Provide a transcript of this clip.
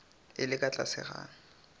e le ka tlase ga